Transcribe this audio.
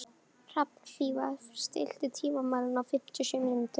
Hrafnfífa, stilltu tímamælinn á fimmtíu og sjö mínútur.